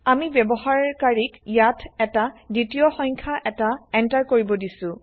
আমি ব্যৱহাৰ কাৰিক ইয়াত এটা দ্বিতীয় সংখ্যা এটা এন্টাৰ কৰিব দিছো